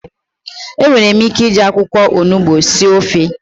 Enwere ike iji akwụkwọ onugbu sie ofe.